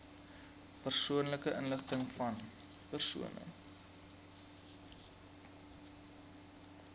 persoonlike inligtingvan persone